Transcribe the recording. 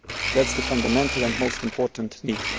beginning. That is the fundamental and most important